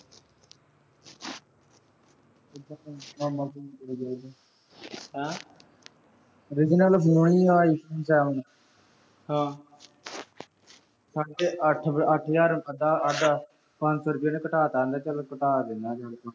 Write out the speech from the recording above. ਹੈਂ। original phone ਆ I phone seven । ਹਾਂ। ਸਾਢੇ ਅੱਠ ਅਹ ਅੱਠ ਹਜ਼ਾਰ ਦਾ ਆਂਜਾ। ਪੰਜ ਸੌ ਰੁਪਏ ਉਹਨੇ ਘਟਾ ਤਾ, ਕਹਿੰਦਾ ਚਲ ਘਟਾ ਦਿੰਨਾ